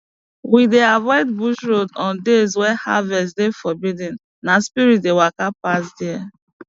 we dey avoid bush road on days wey harvest dey forbidden na spirit dey waka pass there